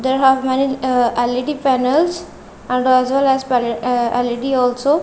there have many uh L_E_D panels and as well as pan uh L_E_D also.